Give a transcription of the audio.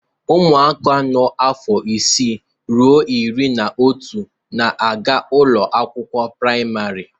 Ụmụaka nọ afọ isii ruo iri na otu na-aga ụlọ akwụkwọ praịmarị.